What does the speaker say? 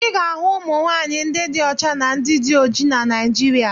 Ị ga-ahụ ụmụ nwaanyị ndị dị ọcha na ndị dị oji na Naịjịrịa.